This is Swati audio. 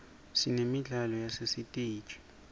sinemidlalo yasesiteji